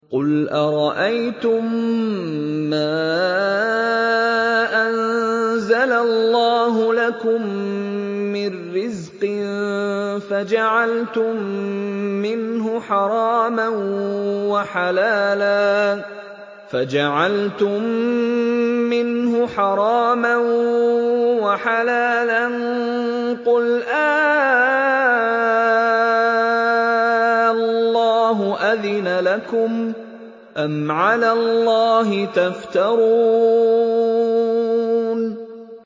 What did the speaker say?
قُلْ أَرَأَيْتُم مَّا أَنزَلَ اللَّهُ لَكُم مِّن رِّزْقٍ فَجَعَلْتُم مِّنْهُ حَرَامًا وَحَلَالًا قُلْ آللَّهُ أَذِنَ لَكُمْ ۖ أَمْ عَلَى اللَّهِ تَفْتَرُونَ